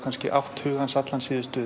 átt hug hans síðustu